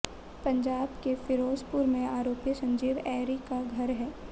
पंजाब के फिरोजपुर में आरोपी संजीव ऐरी का घर है